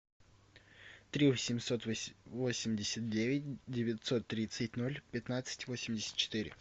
три восемьсот восемьдесят девять девятьсот тридцать ноль пятнадцать восемьдесят четыре